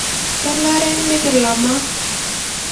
kenare nikilama